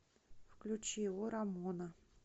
включи о рамона